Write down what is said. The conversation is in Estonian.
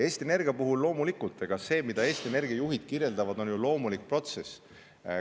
Eesti Energia puhul loomulikult on nii, et see, mida Eesti Energia juhid kirjeldavad, ongi ju loomulik protsess.